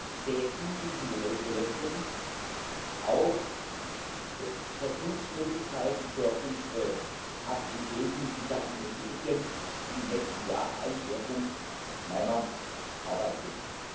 Ich sehe in diesen Modellprojekten auch Versuchsmöglichkeiten für unsere Aktivitäten in Sachen Energieeffizienz, die im nächsten Jahr ein Schwerpunkt meiner Arbeit sind.